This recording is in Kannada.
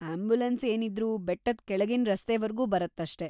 ಆಂಬ್ಯುಲೆನ್ಸ್ ಏನಿದ್ರೂ ಬೆಟ್ಟದ್ ಕೆಳಗಿನ್ ರಸ್ತೆವರ್ಗೂ ಬರತ್ತಷ್ಟೇ.